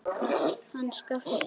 Hann Skapti!